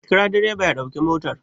Ka kira direba ya ɗauki motar!